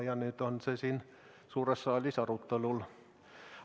Ja nüüd on see siin suures saalis arutelul.